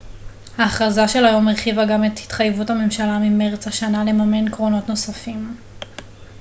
ההכרזה של היום הרחיבה גם את התחייבות הממשלה ממרץ השנה לממן קרונות נוספים